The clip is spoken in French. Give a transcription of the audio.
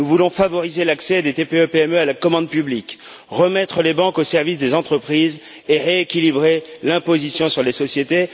Nous voulons favoriser l'accès des TPE PME à la commande publique, remettre les banques au service des entreprises et rééquilibrer l'imposition sur les sociétés.